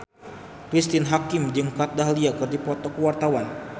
Cristine Hakim jeung Kat Dahlia keur dipoto ku wartawan